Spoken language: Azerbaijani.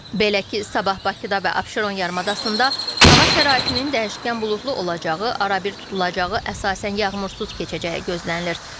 Belə ki, sabah Bakıda və Abşeron yarımadasında hava şəraitinin dəyişkən buludlu olacağı, arabir tutulacağı, əsasən yağmursuz keçəcəyi gözlənilir.